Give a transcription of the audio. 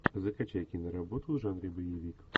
закачай киноработу в жанре боевик